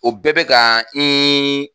O bɛɛ bɛ ka